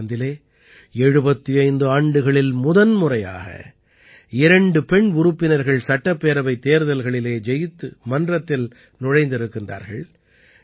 நாகாலாந்திலே 75 ஆண்டுகளில் முதன்முறையாக இரண்டு பெண் உறுப்பினர்கள் சட்டப்பேரவைத் தேர்தல்களிலே ஜெயித்து மன்றத்தில் நுழைந்திருக்கிறர்கள்